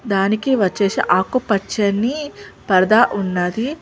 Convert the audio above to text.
దానికి వచ్చేసి ఆకుపచ్చని పరదా ఉన్నది.